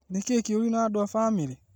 Nĩ kĩĩ kĩũru na andũa bamĩrĩ?